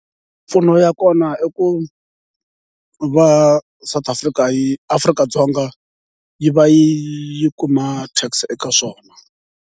Mimpfuno ya kona i ku va South Africa yi Afrika-Dzonga yi va yi kuma tax eka swona.